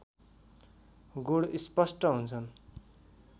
गुण स्पष्ट हुन्छन्